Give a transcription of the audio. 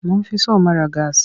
Mun fi son mara gas.